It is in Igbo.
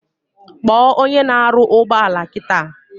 Kpo onye na aru ugboala kita!